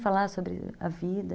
Falar sobre a vida.